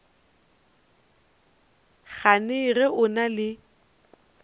gane ge o na le